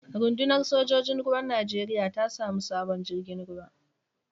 Runɗunar sojojin ruwan Najeriya ta samu sabon jirgin ruwa.